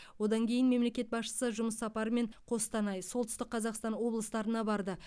одан кейін мемлекет басшысы жұмыс сапарымен қостанай солтүстік қазақстан облыстарына барды